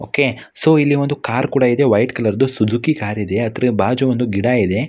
Okay so ಇಲ್ಲಿ ಒಂದು car ಕೂಡ ಇದೆ ವೈಟ್ ಕಲರ್ ದು ಸುಜುಕಿ ಕಾರ್ ಇದೆ ಅದರ ಬಾಜಿ ಒಂದು ಗಿಡ ಇದೆ.